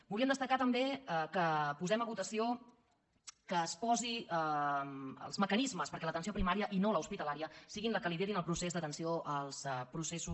volíem destacar també que posem a votació que es posin els mecanismes perquè l’atenció primària i no l’hospitalària sigui la que lideri el procés d’atenció als processos